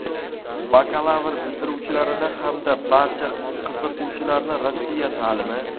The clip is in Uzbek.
bakalavr bitiruvchilarini hamda barcha qiziquvchilarni Rossiya ta’limi.